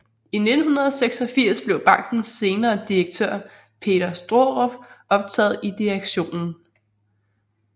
I 1986 blev bankens senere direktør Peter Straarup optaget i direktionen